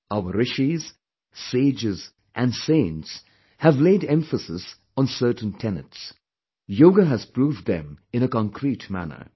Our Rishis, sages and saints have laid emphasis on certain tenets; yoga has proved them in a concrete manner